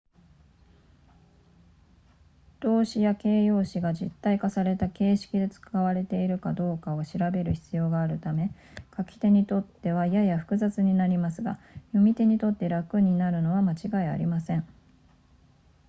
動詞や形容詞が実体化された形式で使われているかどうかを調べる必要があるため書き手にとってはやや複雑になりますが読み手にとって楽になるのは間違いありません